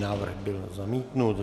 Návrh byl zamítnut.